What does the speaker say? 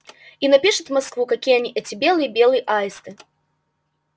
и напишет в москву какие они эти белые белые аисты